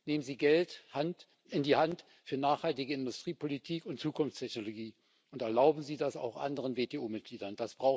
Nehmen Sie Geld in die Hand für nachhaltige Industriepolitik und Zukunftstechnologie und erlauben Sie das auch anderen WTO Mitgliedern.